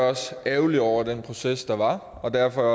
også ærgerlig over den proces der var og derfor er